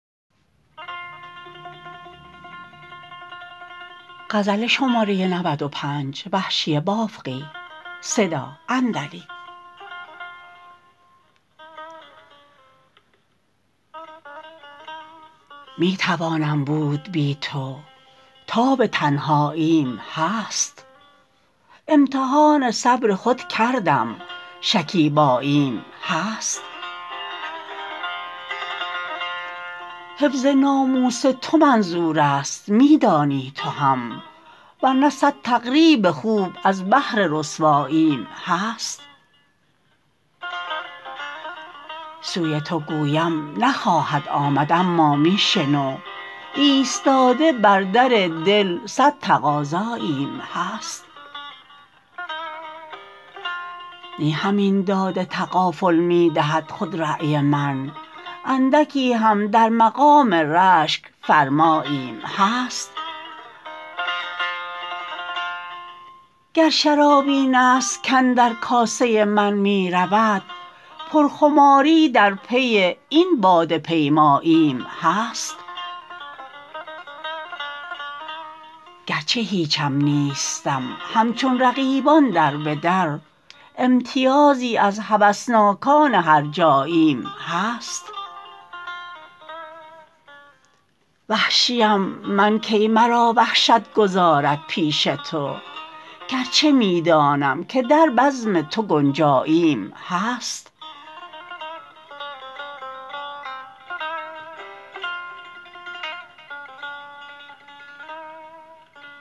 می توانم بود بی تو تاب تنهاییم هست امتحان صبر خود کردم شکیباییم هست حفظ ناموس تو منظور است می دانی تو هم ورنه صد تقریب خوب از بهر رسواییم هست سوی تو گویم نخواهد آمد اما می شنو ایستاده بر در دل صد تقاضاییم هست نی همین داد تغافل می دهد خودرای من اندکی هم در مقام رشک فرماییم هست گر شراب این است کـاندر کاسه من می رود پر خماری در پی این باده پیماییم هست گرچه هیچم نیستم همچون رقیبان دربه در امتیازی از هوسناکان هرجاییم هست وحشی ام من کی مرا وحشت گذارد پیش تو گرچه می دانم که در بزم تو گنجاییم هست